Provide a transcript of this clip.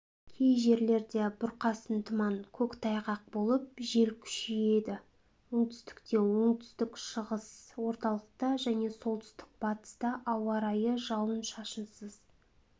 кей жерлерде бұрқасын тұман көктайғақ болып жел күшейеді оңтүстікте оңтүстік-шығыста орталықта және солтүстік-батыста ауа райы жауын-шашынсыз